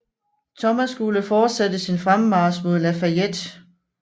Thomas skulle fortsætte sin fremmarch mod La Fayette